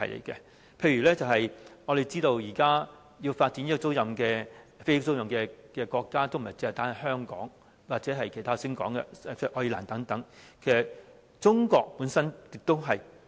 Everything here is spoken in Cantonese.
舉例來說，我們知道現時要發展飛機租賃業務的國家不僅是香港或我剛才提到的愛爾蘭等，其實中國本身也在發展。